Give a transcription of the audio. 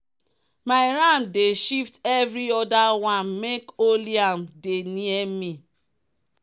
my ram dey shift every other one make only am dey near me.